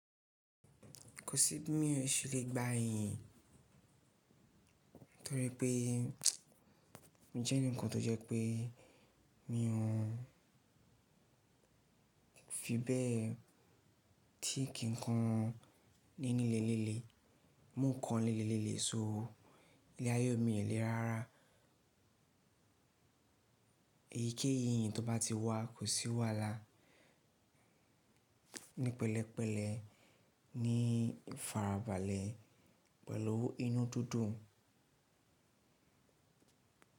Kò sí bí mo se lè gbá yẹn, torí pé mi jẹ́ ẹnìkan tó jẹ́ pé mi ò hun fi bẹ́ẹ̀ tí kínkan ní lilẹ̀ lilé, mu ń kan lilé so ilé ayé mi lè ráárá. Èyíkéyìí tó bá ti wá kò sí wàhálà. Ní pẹ̀lẹ́pẹ̀lẹ́, ní ifarabalẹ̀ pẹ̀lú inú dídùn.